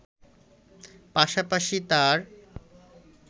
পাশাপাশি তার